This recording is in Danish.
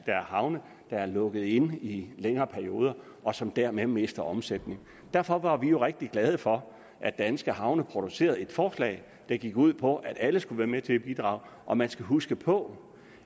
er havne der er lukket inde i længere perioder og som dermed mister omsætning derfor var vi jo rigtig glade for at danske havne producerede et forslag der gik ud på at alle skulle være med til at bidrage og man skal huske på